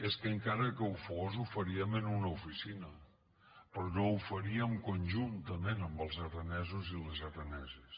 és que encara que ho fos ho faríem en una oficina però no ho faríem conjuntament amb els aranesos i les araneses